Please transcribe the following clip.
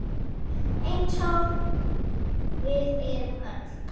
Eins og við erum öll.